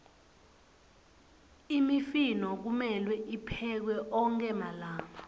imifino kumelwe tiphekwe onkhe malanga